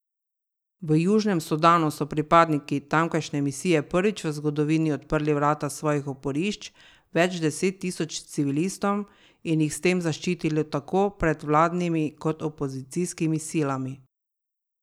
V Južnem Sudanu so pripadniki tamkajšnje misije prvič v zgodovini odprli vrata svojih oporišč več deset tisoč civilistom in jih s tem zaščitili tako pred vladnimi kot opozicijskimi silami.